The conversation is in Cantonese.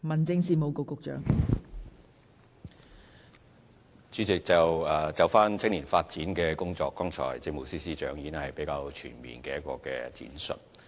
代理主席，就青年發展的工作，政務司司長剛才已作了一個全面的闡述。